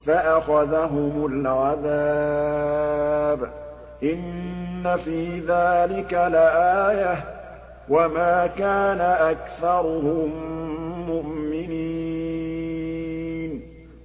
فَأَخَذَهُمُ الْعَذَابُ ۗ إِنَّ فِي ذَٰلِكَ لَآيَةً ۖ وَمَا كَانَ أَكْثَرُهُم مُّؤْمِنِينَ